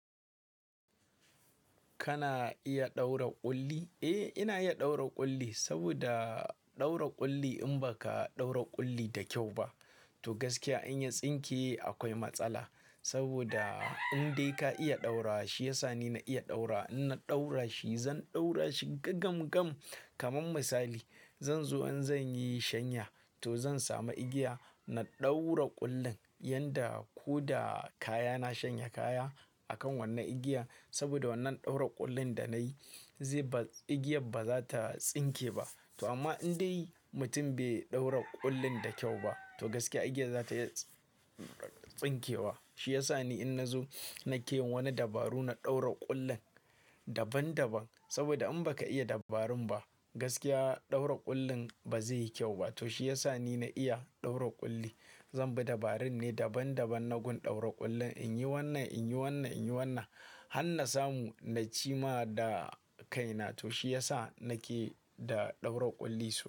Kana iya ɗaura ƙulli? Eh, ina iya ɗaura ƙulli saboda ɗaura ƙulli in baka ɗaura ƙulli da kyau ba to gaskiya in ya tsinke akwai matsala. Saboda indai ka iya ɗaura wa, shi ya sa ni na iya ɗaurawa. In na ɗaura shi zan ɗaura shi gagamgam kaman misali zan zo in zan yi shanya to zan samu igiya. Na ɗaura ƙullin yanda ko da kaya na shanya kaya akan wannan igiya. Saboda wannan ɗaura ƙullin da nayi ze ba-- igiyar ba za ta tsinke ba. To amma indai mutum bai ɗaura ƙullin da kyau ba, to gaskiya igiyar za ta iya tsinkewa. Shi ya sa ni in na zo na ke yin wa ni dabaru na ɗaura ƙullin daban-daban. Saboda in baka iya dabarun ba, gaskiya ɗaura ƙullin ba zai yi kyau ba. To shi ya sa ni na iya ɗaura ƙulli. Zan bi dabarun ne daban-daban na gun ɗaura ƙullin. In yi wannan, in yi wannan, in yi wannan han na samu nacima da kaina. To shi ya sa na ke da ɗaura ƙulli sosai.